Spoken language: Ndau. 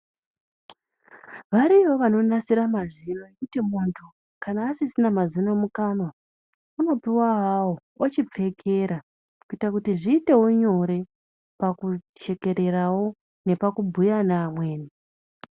Variyowo vanonasira mazino ekuti muntu kana asisina mazino mukanwa anopuwa mazuwa awawo ochopfekera kuita kuti zviite nyore kuchekererawo neoakubhuya nevamweni.